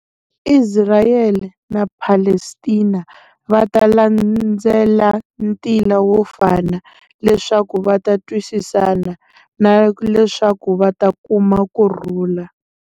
Isirayele na Palestina va ta landzela ntila wo fana, leswaku va ta twisisana, na leswaku va ta kuma kurhula.